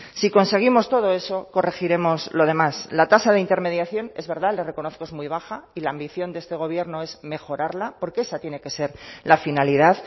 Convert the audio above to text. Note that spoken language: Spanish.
si conseguimos todo eso corregiremos lo demás la tasa de intermediación es verdad le reconozco es muy baja y la ambición de este gobierno es mejorarla porque esa tiene que ser la finalidad